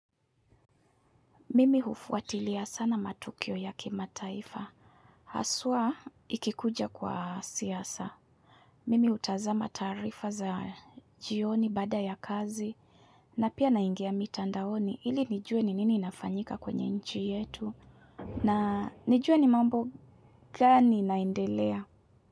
Mimi hufuatilia sana matukio ya kimataifa. Haswa ikikuja kwa siasa. Mimi utazama tarifa za jioni bada ya kazi. Na pia naingia mitandaoni. Ili nijue ni nini inafanyika kwenye nchi yetu. Na nijue ni mambo gani inaendelea.